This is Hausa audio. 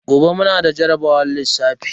Gobe mu na da jarabawar lissafi.